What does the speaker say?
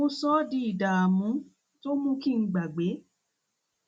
mo sọ ọ mo sọ ọ di ìdààmú tí ó mú kí n gbàgbé